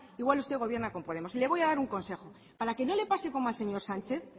igual usted gobierna con podemos y le voy a dar un consejo para que no le pase como al señor sánchez